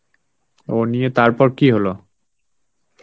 ও নিয়ে তারপর কি হলো?